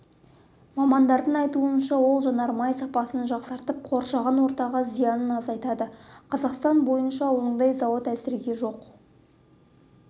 мамандардың айтуынша ол жанармай сапасын жақсартып қоршаған ортаға зиянын азайтады қазақстан бойынша ондай зауыт әзірге жоқ